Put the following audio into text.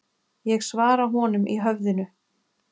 Ég svara honum í höfðinu.